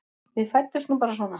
Við fæddumst nú bara svona.